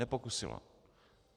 Nepokusila.